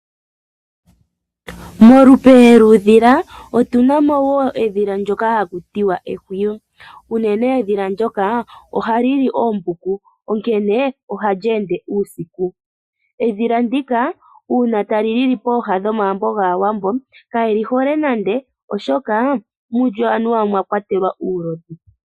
Molupe lwuudhila otunamo woo edhila ndjoka haku tuwa ehwiyi. Unene edhila ndjoka oha lili oombuku onkene ohali ende uusiku. Edhila ndika uuna tali lili pooha dhomagumbo gaawambo kayelihole nande oahoka mulyo anuwa omwa kwatelwa uulodhi.